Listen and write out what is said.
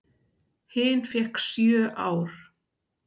Hin fékk sjö ár.